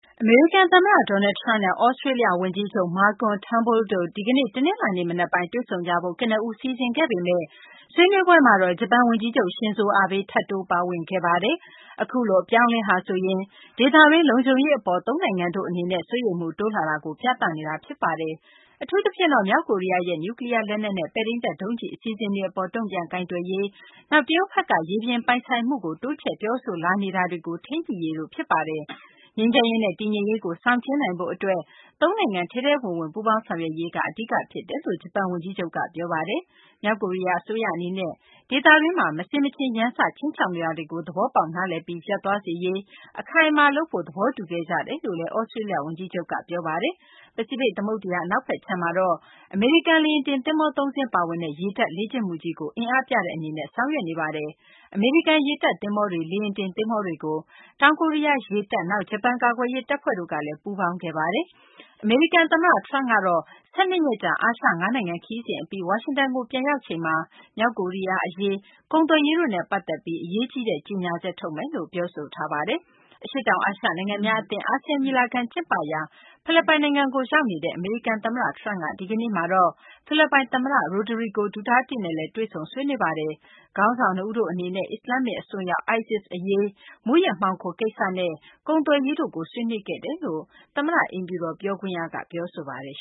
အမေရိကန် သမ္မတ Donald Trump နဲ့ သြစတေးလျ ဝန်ကြီးချုပ် Malcolm Trunbull တို့ ဒီကနေ့ တနလာၤနေ့ မနက်ပိုင်း တွေ့ဆုံကြဖို့ ကနဦး စီစဉ်ခဲ့ပေမယ့် ဆွေးနွေးပွဲမှာတော့ ဂျပန် ဝန်ကြီးချုပ် Shinzo Abe ထပ်တိုးပါဝင်ခဲ့ပါတယ်။ အခုလို အပြောင်းအလဲဟာဆိုရင် ဒေသတွင်း လုံခြုံရေး အပေါ် သုံးနိုင်ငံတို့ အနေနဲ့ စိုးရိမ်မှု တိုးလာတာကို ပြသနေတာ ဖြစ်ပါတယ်။ အထူးသဖြင့်တော့ မြောက်ကိုရီးယားရဲ့ နျူးကလီးယား လက်နက်နဲ့ ပဲ့ထိန်းတပ် ဒုံးကျည် အစီအစဉ်တွေ အပေါ် တုံ့ပြန်ကိုင်တွယ်ရေး၊ နောက် တရုတ်ဘက်က ရေပြင်ပိုင် ဆိုင်မှုကို တိုးချဲ့ ပြောဆိုလာနေတာတွေကို ထိန်းညှိရေးတို့ ဖြစ်ပါတယ်။ ငြိမ်းချမ်းရေးနဲ့ တည်ငြိမ်ရေးကို ဆောင်ကျဉ်းနိုင်ဖို့ အတွက် သုံးနိုင်ငံ ထဲထဲဝင်ဝင် ပူးပေါင်းဆောင်ရွက်ရေးက အဓိက ဖြစ်ပါတယ်လို့ ဂျပန် ဝန်ကြီးချုပ်က ပြောဆိုပါတယ်။ မြောက်ကိုရီးယား အစိုးရ အနေနဲ့ ဒေသတွင်းမှာ မဆင်မခြင် ရန်စ ခြိမ်းခြောက်နေတာတွေကို သဘောပေါက်နားလည်ပြီး ရပ်သွားစေရေး အခိုင်အမာ လုပ်ဖို့ သဘောတူခဲ့ကြတယ်လို့လည်း သြစတေးလျ ဝန်ကြီးချုပ်က ပြောပါတယ်။ ပစိဖိတ် သမုဒ္ဒရာ အနောက်ခြမ်းမှာတော့ အမေရိကန် လေယာဉ်တင် သဘောၤ ၃ စင်း ပါဝင်တဲ့ ရေတပ်လေ့ကျင့်မှုကြီးကို အင်အားပြတဲ့ အနေနဲ့ ဆောင်ရွက်နေပါတယ်။ အမေရိကန် ရေတပ် သဘောၤတွေ၊ လေယာဉ်တင် သဘောၤတွေကို တောင်ကိုရီးယား ရေတပ်၊ နောက် ဂျပန် ကာကွယ်ရေး တပ်ဖွဲ့တို့ကလည်း ပူးပေါင်းခဲ့ပါတယ်။ အမေရိကန် သမ္မတ Trump ကတော့ ၁၂ ရက်ကြာ အာရှ ၅ နိုင်ငံ ခရီးစဉ် အပြီး ဝါရှင်တန်ကို ပြန်ရောက်ချိန်မှာ မြောက်ကိုရီးယား အရေး၊ ကုန်သွယ်ရေးတို့နဲ့ ပတ်သက်ပြီး အရေးကြီးတဲ့ ကြေညာချက် ထုတ်မယ်လို့ ပြောဆိုထားပါတယ်။ အရှေ့တောင် အာရှ နိုင်ငံများအသင်း ASEAN ညီလာခံ ကျင်းပရာ ဖိလစ်ပိုင်နိုင်ငံကို ရောက်နေတဲ့ အမေရိကန် သမ္မတ Trump က ဒီကနေ့မှာတော့ ဖိလစ်ပိုင် သမ္မတ Rodrigo Duterte နဲ့လည်း တွေ့ဆုံ ဆွေးနွေးခဲ့ပါတယ်။ ခေါင်းဆောင် နှစ်ဦးတို့ အနေနဲ့ အစ္စလာမ္မစ် အစွန်းရောက် ISIS အရေး၊ မူးယစ်မှောင်ခို အရေးနဲ့ ကုန်သွယ်ရေးတို့ကို ဆွေးနွေးခဲ့တယ်လို့ အမေရိကန် သမ္မတ အိမ်ဖြူတော် ပြောခွင့်ရက ပြောဆိုထားပါတယ်